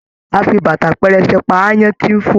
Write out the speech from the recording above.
A fí bàtà pẹrẹsẹ pá aáyán tí n fo